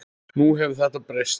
Nú hefur þetta breyst.